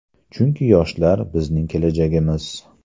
Chunki yoshlar – bizning kelajagimiz.